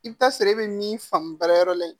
I bɛ taa sɔrɔ e bɛ min faamu baarayɔrɔ la yen